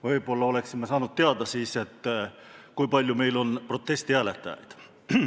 Võib-olla oleksime saanud siis teada, kui palju on meil protestihääletajaid.